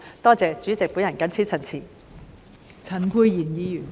多謝代理主席，我謹此陳辭。